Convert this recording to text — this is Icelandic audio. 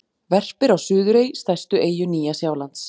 Verpir á Suðurey, stærstu eyju Nýja-Sjálands.